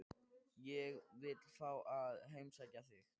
Ég vil fá að heimsækja þig.